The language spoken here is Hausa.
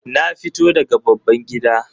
Na fito daga babban gida